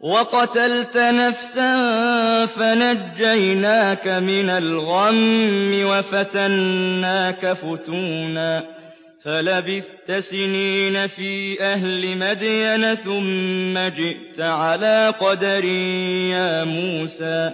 وَقَتَلْتَ نَفْسًا فَنَجَّيْنَاكَ مِنَ الْغَمِّ وَفَتَنَّاكَ فُتُونًا ۚ فَلَبِثْتَ سِنِينَ فِي أَهْلِ مَدْيَنَ ثُمَّ جِئْتَ عَلَىٰ قَدَرٍ يَا مُوسَىٰ